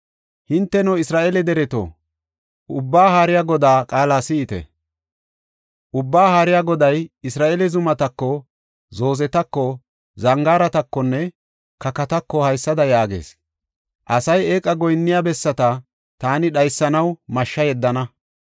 Hinteno, Isra7eele dereto, Ubbaa Haariya Godaa qaala si7ite. Ubbaa Haariya Goday Isra7eele zumatako, zoozetako, zangaaratakonne kakatako haysada yaagees: ‘Asay eeqa goyinniya bessata taani dhaysanaw mashsha yeddana.